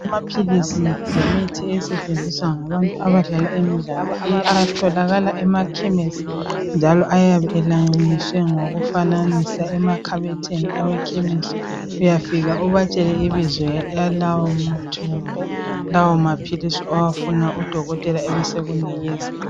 Amaphilisi lemithi esetshenziswa ngabantu abadlala imidlalo. Atholakala emakhemisi njalo ayabe elayiniswe ngokufananisa emakhabothini awekhemisi. Uyafika ubatshele ibizo lalawo maphilisi owafunayo udokotela abe sekunikeza